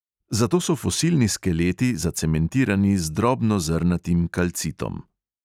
Zato so fosilni skeleti zacementirani z drobnozrnatim kalcitom.